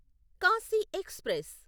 Kashi express